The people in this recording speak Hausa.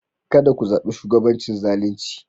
Ka da ku zabi shugabancin zalinci.